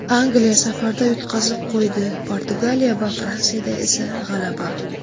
Angliya safarda yutqazib qo‘ydi, Portugaliya va Fransiyada esa g‘alaba.